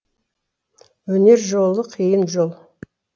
өнер жолы қиын жол